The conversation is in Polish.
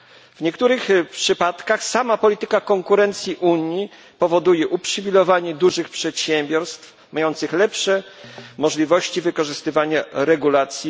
W niektórych przypadkach sama polityka konkurencji Unii powoduje uprzywilejowanie dużych przedsiębiorstw, mających lepsze od MŚP możliwości wykorzystywania regulacji.